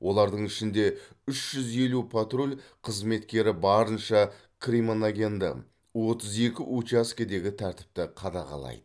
олардың ішінде үш жүз елу патруль қызметкері барынша кримоногенді отыз екі учаскедегі тәртіпті қадағалайды